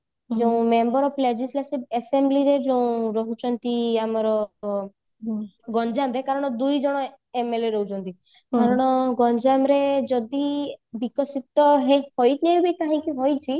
ଯୋଉ member of legislative assembly ର ଯୋଉ ରହୁଛନ୍ତି ଆମର ଗଞ୍ଜାମ ରେ କାରଣ ଦୁଇଜଣ MLA ରହୁଛନ୍ତି କାରଣ ଗଞ୍ଜାମରେ ଯଦି ବିକଶିତ ହେଇଥାଏ